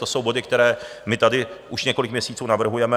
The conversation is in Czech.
To jsou body, které my tady už několik měsíců navrhujeme.